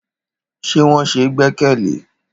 Ṣé wọn ṣe gbẹ́kẹ̀lé?